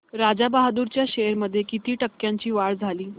राजा बहादूर च्या शेअर्स मध्ये किती टक्क्यांची वाढ झाली